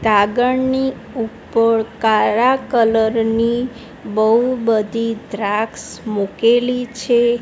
કાગળની ઉપર કાળા કલર ની બઉ બધી દ્રાક્ષ મૂકેલી છે.